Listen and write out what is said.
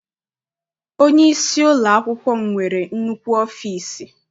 Onyeisi ụlọakwụkwọ m nwere nnukwu ọfịịsi.